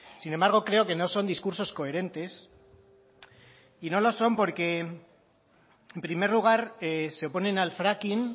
sin embargo creo que no son discursos coherentes y no lo son porque en primer lugar se oponen al fracking